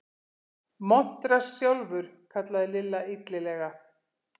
Montrass sjálfur! kallaði Lilla illilega.